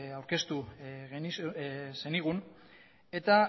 aurkeztu zenigun eta